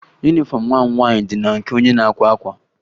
Yunifọmụ nwa m nwaanyị dị na nke onye na-akwa akwa